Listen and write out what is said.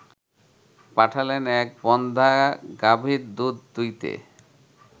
পাঠালেন এক বন্ধ্যা গাভীর দুধ দুইতে